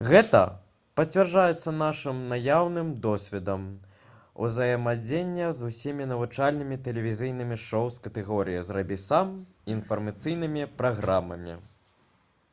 гэта пацвярджаецца нашым наяўным досведам узаемадзеяння з усімі навучальнымі тэлевізійнымі шоу з катэгорыі «зрабі сам» і інфармацыйнымі праграмамі